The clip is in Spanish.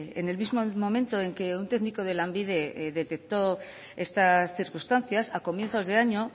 en el mismo momento en que un técnico de lanbide detectó estas circunstancias a comienzos de año